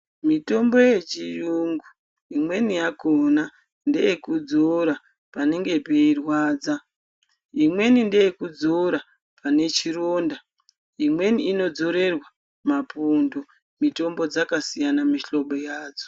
Mitombo yechiungu imweni yakona ndeye kudzura panenge peirwadza imweni ndeyekudzura panechironda imweni imodzurirwa mapundu mitombo dzakasiyana mihlobo yadzo.